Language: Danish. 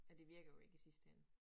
Ja det virker jo ikke i sidste ende